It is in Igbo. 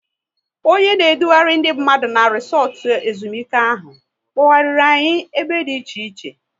Onye na edughari ndị mmadụ na resotu ezumike ahụ, kpoghariri anyị ebe dị iche iche